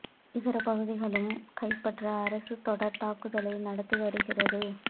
இதர பகுதிகளையும் கைப்பற்ற அரசு தொடர் தாக்குதலை நடத்தி வருகிறது